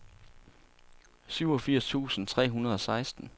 syvogfirs tusind tre hundrede og seksten